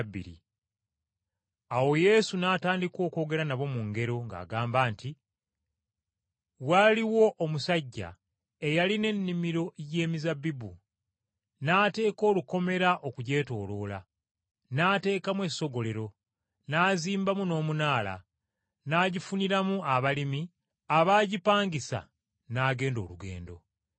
Awo Yesu n’atandika okwogera nabo mu ngero, ng’agamba nti, “Waaliwo omusajja eyalima ennimiro y’emizabbibu, n’ateeka olukomera okugyetooloola, n’ateekamu essogolero, n’azimbamu n’omunaala, n’agifuniramu abalimi abaagipangisa, n’agenda olugendo.